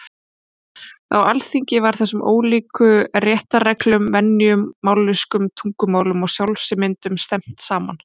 Á Alþingi var þessum ólíku réttarreglum, venjum, mállýskum, tungumálum og sjálfsmyndum stefnt saman.